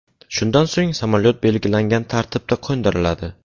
Shundan so‘ng samolyot belgilangan tartibda qo‘ndiriladi.